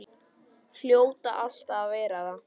Hljóta alltaf að verða það.